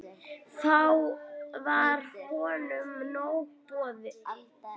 Þá var honum nóg boðið.